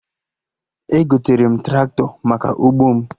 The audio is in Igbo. Egotere m Traktọ maka ụgbọ m